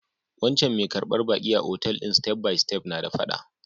Wancan mai karbar baƙi a otal din step by step na da fada.